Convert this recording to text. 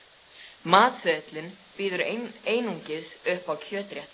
Matseðillinn býður einungis upp á kjötrétti.